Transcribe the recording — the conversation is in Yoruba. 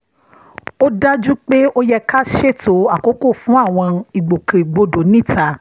ó dájú pé ó yẹ ká ṣètò àkókò fún àwọn ìgbòkègbodò níta